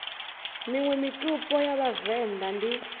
miṅwe mitupo ya vhavenḓa ndi